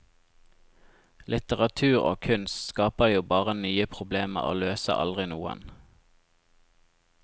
Litteratur og kunst skaper jo bare nye problemer og løser aldri noen.